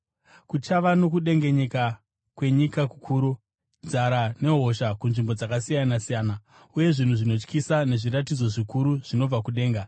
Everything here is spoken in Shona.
Kuchava nokudengenyeka kwenyika kukuru, nzara nehosha kunzvimbo dzakasiyana-siyana, uye zvinhu zvinotyisa nezviratidzo zvikuru zvinobva kudenga.